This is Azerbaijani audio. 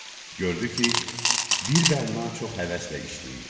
Gördü ki, bir bənna çox həvəslə işləyir.